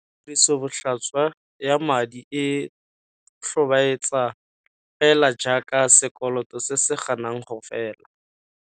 Tirisobotlhaswa ya madi e tlhobaetsa fela jaaka sekoloto se se ganang go fela.